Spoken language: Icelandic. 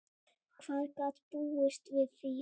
Hver gat búist við því?